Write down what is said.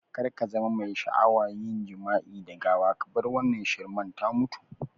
Kar kazama mai sha'awa yin jima'i da gawa kabar wannan shirman ta mutu